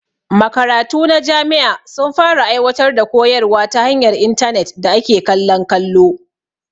Makaratu na jami'a sun fara aiwatar da koyarwa ta hanyar intarnet da ake kallon kallo